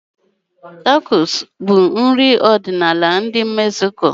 Tacos bụ nri ọdịnala ndi Mexico.